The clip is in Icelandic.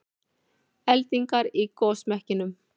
Eldingar í gosmekkinum